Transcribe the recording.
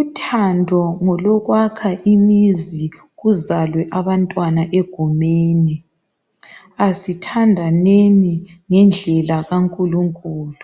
uthando ngolokwakha imizi kuzalwe abantwana egumeni asithandaneni ngendlela kankulunkulu